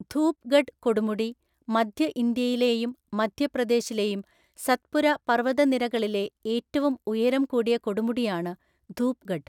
ധൂപ്ഗഡ് കൊടുമുടി, മധ്യ ഇന്ത്യയിലെയും മധ്യപ്രദേശിലെയും സത്പുര പർവതനിരകാളിലെ ഏറ്റവും ഉയരം കൂടിയ കൊടുമുടിയാണ് ധൂപ്ഗഡ്.